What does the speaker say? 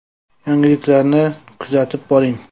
Yangiliklarni kuzatib boring.